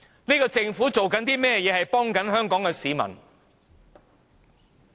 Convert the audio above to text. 這個政府做過甚麼幫助香港市民？